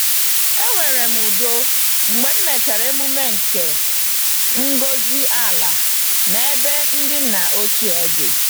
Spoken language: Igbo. Enwere m udo mgbe m mechara emume nke ngọzi-ala n'ebe ndị nna ochie dị.